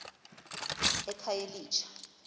ekhayelitsha